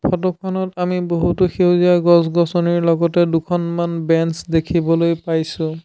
ফটোখনত আমি বহুতো সেউজীয়া গছ-গছনিৰ লগতে দুখনমান বেঞ্চ দেখিবলৈ পাইছোঁ।